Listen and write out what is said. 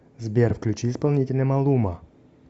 сбер включи исполнителя малума